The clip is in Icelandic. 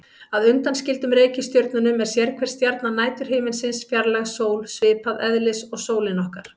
Að undanskildum reikistjörnunum er sérhver stjarna næturhiminsins fjarlæg sól, svipaðs eðlis og sólin okkar.